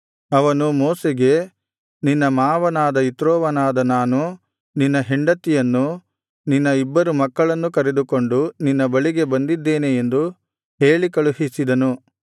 ಅವನು ಮೋಶೆಗೆ ನಿನ್ನ ಮಾವನಾದ ಇತ್ರೋವನಾದ ನಾನು ನಿನ್ನ ಹೆಂಡತಿಯನ್ನು ನಿನ್ನ ಇಬ್ಬರು ಮಕ್ಕಳನ್ನು ಕರೆದುಕೊಂಡು ನಿನ್ನ ಬಳಿಗೆ ಬಂದಿದ್ದೇನೆ ಎಂದು ಹೇಳಿ ಕಳುಹಿಸಿದನು